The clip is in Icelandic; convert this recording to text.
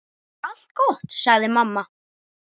Bara allt gott, sagði mamma.